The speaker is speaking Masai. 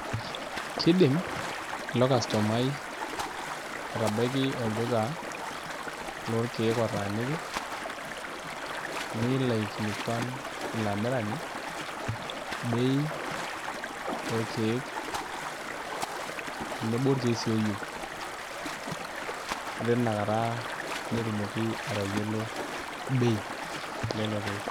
Kiidim ilo kastomai atabaiki olduka lorkeek otaaniki nelo aikilikuan akilikua ilo amirani bei orkeek tenebo orkeek sii ooyieu ore tinakata netumoki atayiolo bei elelo keek.